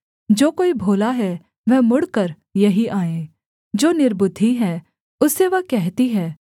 जो कोई भोला है वह मुड़कर यहीं आए जो निर्बुद्धि है उससे वह कहती है